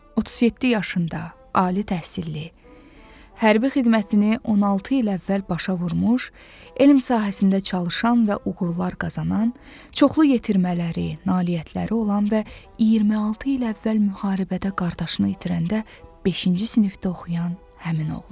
37 yaşında, ali təhsilli, hərbi xidmətini 16 il əvvəl başa vurmuş, elm sahəsində çalışan və uğurlar qazanan, çoxlu yetirmələri, nailiyyətləri olan və 26 il əvvəl müharibədə qardaşını itirəndə beşinci sinifdə oxuyan həmin oğlan.